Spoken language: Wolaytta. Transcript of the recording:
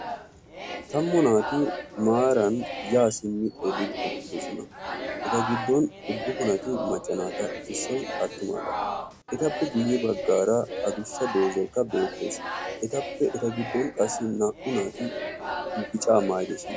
Tammu naati maaran yaa simmi eqqidosona eta giddon uddufunati macca naata issoyi attumaagaa. Etappe guyye baggaara adussa doozzaykka beettes. Etappe eta giddon qassi naa"u naati bicaa maayidosona.